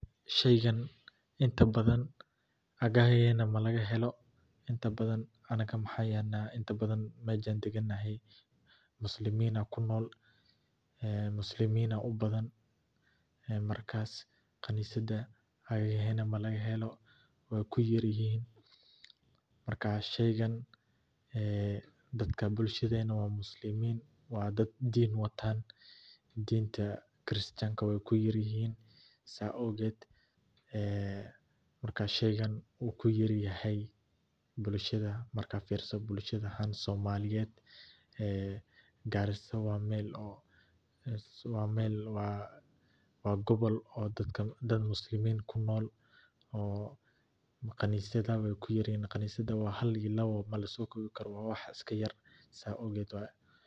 Sheygan intabadhan agahena lagamahelo intabadhan aniga mxan yelnah intabadhan mejan degenahay muslimin aya kunol, muslimin aya ubadhan ee markas qanisad agagehena lagamahelo, way kuyaryihin marka sheygan dadka bulshadena waa muslimin, waa dad din watan didnta kristanka way kuyaryihin, saa awged ee Marka sheygan wuu kuyaryahy bulshada markad firiso, gar ahan bulshada somaliyed, Garissa waa mel gobol oo dad muslimin ah kunol oo qanisadaha way kuyaryihin, qanisada waa hal iyo labo lamasokobi karo waa wax iskayar saa awged waye.